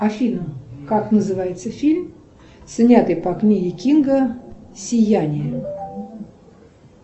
афина как называется фильм снятый по книге кинга сияние